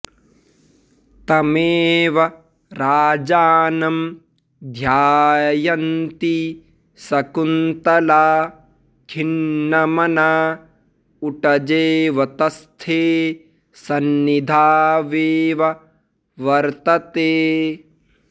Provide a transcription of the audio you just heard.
तमेव राजानं ध्यायन्ती शकुन्तला खिन्नमना उटजेऽवतस्थे सन्निधावेव वर्तते